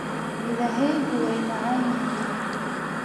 Midhahaygu waa macaan yihiin.